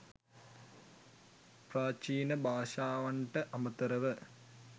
ප්‍රාචීන භාෂාවන්ට අමතරව